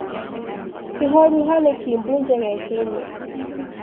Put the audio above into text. Kĩroruha nĩkĩimbu njegeke-inĩ.